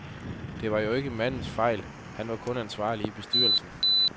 Det var jo ikke mandens fejl, han var kun ansvarlig i bestyrelsen.